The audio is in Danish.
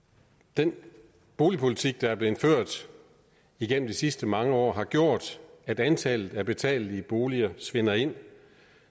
den boligpolitik der er blevet ført gennem de sidste mange år har gjort at antallet af betalelige boliger svinder ind